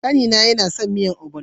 Kani na yana son miyan "ogbono ".